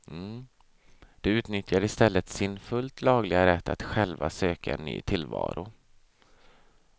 De utnyttjar istället sin fullt lagliga rätt att själva söka en ny tillvaro.